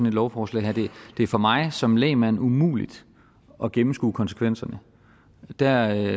et lovforslag her det er for mig som lægmand umuligt at gennemskue konsekvenserne der